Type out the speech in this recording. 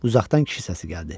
Uzaqdan kişi səsi gəldi.